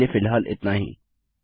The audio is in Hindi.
अभी के लिए फ़िलहाल इतना ही